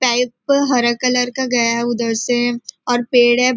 Pipe हरा colour का गया है उधर से और पेड़ है।